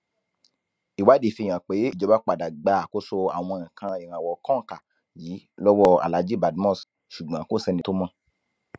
ìwádìí fihàn pé ìjọba padà gba àkóso àwọn nǹkan ìrànwọ kòǹkà yìí lọwọ alhaji badmus ṣùgbọn kò sẹni tó mọ